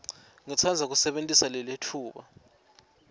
ngitsandza kusebentisa lelitfuba